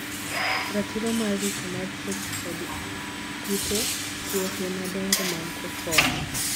Ratiro mar Ritoo mar tuoche kod kute. Tuohe madongo mag cocoa.